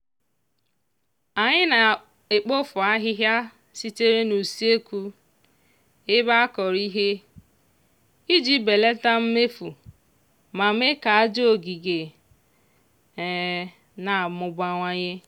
anyị na-ekpofu ahịhịa sitere n'usekwu ebe a kọrọ ihe iji belata mmefu ma mee ka aja ogige na-amụbawanye.